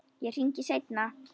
Ég hringi seinna.